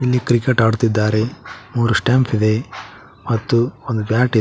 ಇಲ್ಲಿ ಕ್ರಿಕೆಟ್ ಆಡ್ತಿದ್ದಾರೆ ಮೂರು ಸ್ಟಾಂಪ್ ಇದೆ ಮತ್ತು ಒಂದು ಬ್ಯಾಟ್ ಇದೆ.